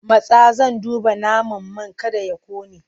Matsa! Zan duba naman man kada ya ƙone!